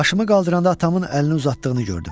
Başımı qaldıranda atamın əlini uzatdığını gördüm.